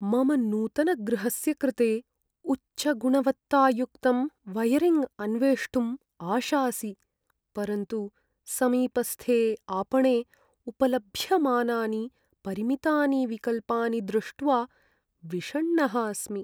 मम नूतनगृहस्य कृते उच्चगुणवत्तायुक्तं वयरिङ्ग् अन्वेष्टुम् आशासि, परन्तु समीपस्थे आपणे उपलभ्यमानानि परिमितानि विकल्पानि दृष्ट्वा विषण्णः अस्मि।